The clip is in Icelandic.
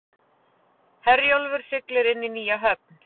Herjólfur siglir inn í nýja höfn